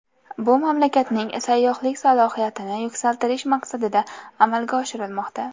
Bu mamlakatning sayyohlik salohiyatini yuksaltirish maqsadida amalga oshirilmoqda.